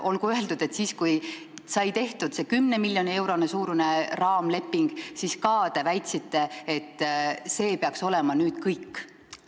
Olgu öeldud, et kui sai tehtud see 10 miljoni euro suurune raamleping, siis te ka väitsite, et see peaks nüüd kõik olema.